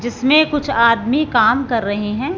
जिसमें कुछ आदमी काम कर रहे हैं।